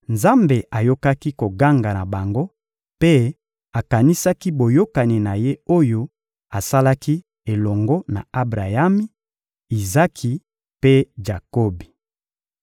Nzambe ayokaki koganga na bango mpe akanisaki boyokani na Ye oyo asalaki elongo na Abrayami, Izaki mpe Jakobi.